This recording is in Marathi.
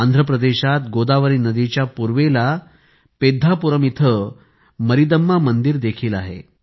आंध्रप्रदेशात गोदावरी नदीच्या पूर्वेला पेद्धापुरम येथे मरीदम्मा मंदिर देखील आहे